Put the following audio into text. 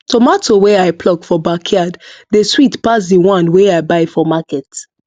tomato wey i pluck for backyard dey sweet pass the one wey i buy for market